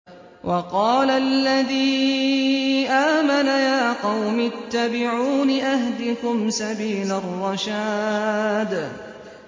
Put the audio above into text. وَقَالَ الَّذِي آمَنَ يَا قَوْمِ اتَّبِعُونِ أَهْدِكُمْ سَبِيلَ الرَّشَادِ